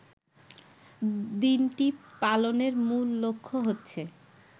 দিনটি পালনের মূল লক্ষ্য হচ্ছে